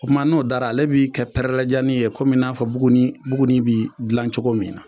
O tuma n'o dara ale bi kɛ pɛrɛlɛjani ye komi n'a fɔ buguni buguni bɛ dilan cogo min na.